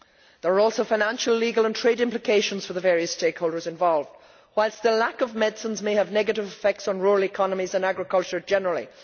There are also financial, legal and trade implications for the various stakeholders involved, whilst the lack of medicines may have negative effects on rural economies and agriculture generally.